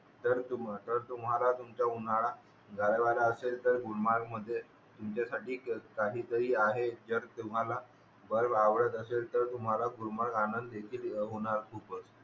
तर तुमहाला तर तुम्हाला तुमचा उन्हाळा घालवायचा असेल तर गुलमर्ग मध्ये तुमचाच साठी काही तरी आहे जर अतुम्हाला बेर्रफ आवडत असेल तर तुम्हाला गुलमार्ग आनंददेखील होणार खूप